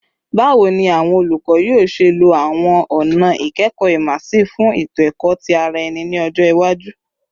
Bawo ni awọn olukọ yoo ṣe lo awọn ọna ikẹkọ immersive fun eto-ẹkọ ti ara ẹni ni ọjọ iwaju?